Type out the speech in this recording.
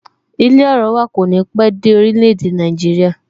Ilé orowa kò ní pé dé orile-ede Naijiria